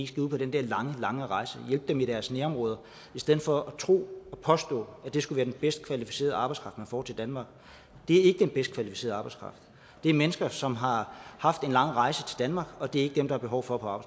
skal ud på den der lange lange rejse altså hjælpe dem i deres nærområder i stedet for at tro og påstå at det skulle være den bedst kvalificerede arbejdskraft man får til danmark det er ikke den bedst kvalificerede arbejdskraft det er mennesker som har haft en lang rejse til danmark og det er ikke dem der er behov for